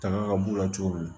Tanga ka b'u la cogo min